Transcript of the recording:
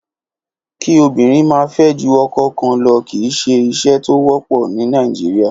Kí obìnrin máa fẹ́ ju ọkọ kan lo kì í ṣe ìṣe tó wọ́pọ̀ ní Nàìjíríà.